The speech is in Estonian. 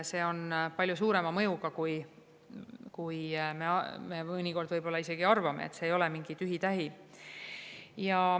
See on palju suurema mõjuga, kui me mõnikord võib-olla arvame, see ei ole mingi tühi-tähi.